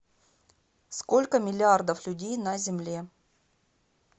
сколько миллиардов людей на земле